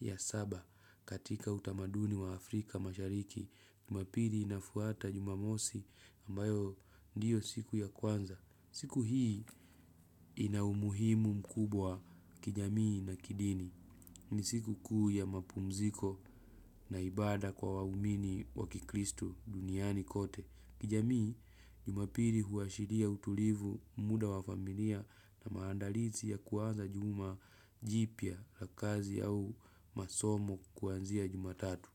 ya saba katika utamaduni wa Afrika mashariki. Jumapili inafuata jumamosi ambayo ndiyo siku ya kwanza. Siku hii ina umuhimu mkubwa kijamii na kidini. Ni siku kuu ya mapumziko na ibada kwa waumini wa kikristu duniani kote. Kijamii jumapiri huashiria utulivu muda wa familia na maandalizi ya kuaza juma jipya ya kazi au masomo kuanzia jumatatu.